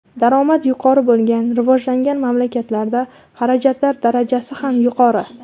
Daromad yuqori bo‘lgan rivojlangan mamlakatlarda xarajatlar darajasi ham yuqori.